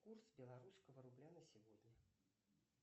курс белорусского рубля на сегодня